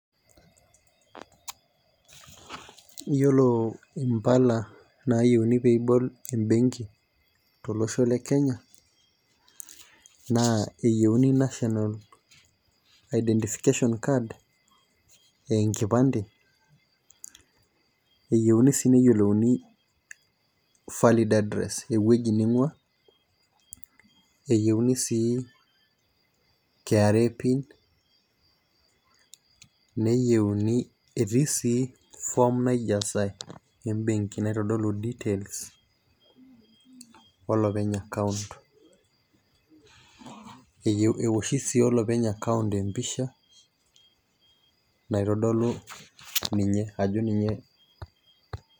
Iyiolo mpala naayieuni pee ibol ebenki tolosho le Kenya naa eyieni national identification card aa enkipande keyieuni sii neyiolonu valid address ewueji ning'uaa, eyieuni sii KRA pin neiyeuni etii sii form naijasae, naitodolu details olopeny account .enoshi sii olopeny account empisja naitodolu, ninye ajo ninye.